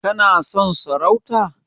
Kana son sarauta?